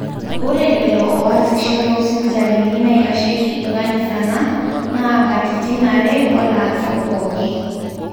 ore lelo ooasisho toosipitalini naitasheiki inkanisana naa katitin are oolaasak pooki